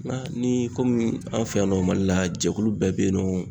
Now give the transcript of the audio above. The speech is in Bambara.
I m'a ye ni komi an fɛ yan nɔ mali la jɛkulu bɛɛ bɛ yen nɔ